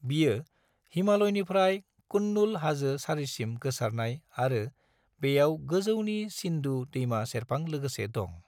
बियो हिमालयनिफ्राय कुनलुन हाजो सारिसिम गोसारनाय आरो बेयाव गोजौनि सिंधु दैमा सेरफां लोगोसे दं।